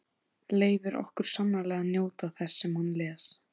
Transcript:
Leyfir okkur sannarlega að njóta þess sem hann les.